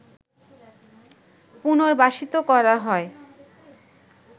পুনর্বাসিত করা হয়